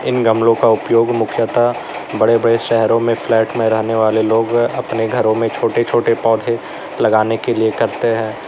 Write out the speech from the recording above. इन गमले का उपयोग मुख्यतः बड़े बड़े शहरों में फ्लैट में रहने वाले लोग अपने घरों में छोटे छोटे पौधे लगाने के लिए करते हैं।